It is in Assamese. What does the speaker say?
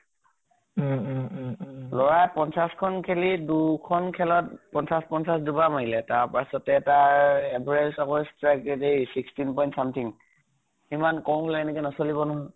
উম উম উম । লʼৰাই পঞ্চাছ খন খেলি দুখন খেলত পঞ্চাছ পঞ্চাছ দুবাৰ মাৰিলে। তাৰ পাছতে তাৰ average আকৌ strike rate এ sixteen point something, ইমান কম হলে এনেকে নচলিব নহয়।